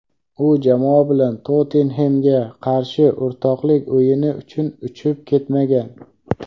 U jamoa bilan "Tottenhem"ga qarshi o‘rtoqlik o‘yini uchun uchib ketmagan;.